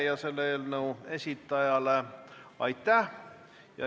Aitäh selle eelnõu esitajale!